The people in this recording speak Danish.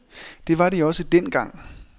Det var de også dengang.